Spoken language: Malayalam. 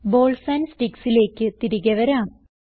ബോൾസ് ആൻഡ് sticksലേക്ക് തിരികെ വരാം